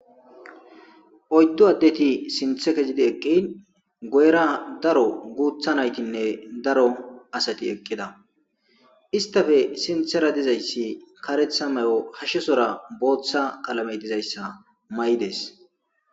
oyddu addeti sinthe kezidi eqqin goyra daro guutha naytinne daro asati eqqida istafe sinthera dizayssi karetha may7o hashshesora booththa qalame dizayssa may7dees